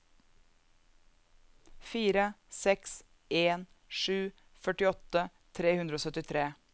fire seks en sju førtiåtte tre hundre og syttitre